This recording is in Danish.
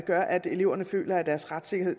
gør at eleverne føler at deres retssikkerhed